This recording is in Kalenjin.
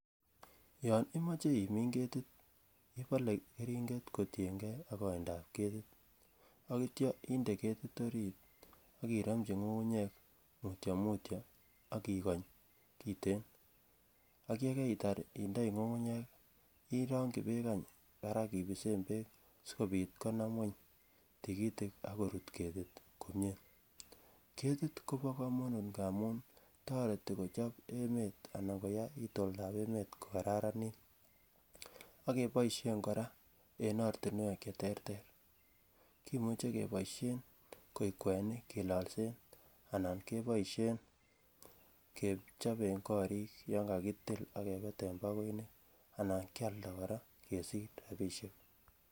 Yon imoche imin ketit ibole keringet kotienge ak kaindap ketit ak yeitya inde ketit orit ak iromchi ngungunyek mutyo mutyo ak ikonyon kiten ak ye kaitar indoi ngungunyek irongyi bek barak any ibesen bek asikobit konam ngwony tikitik ak korut komie ketit kobo kamanut ngamun toreti kochob emet anan koyai oldo ko Kararanit ak keboisien kora en ortinwek Che terter kimuche keboisien kwenik kilolsen anan keboisien kechoben korik yon kakitil ak kebeten pagoinik anan kealda kora kesich rabisiek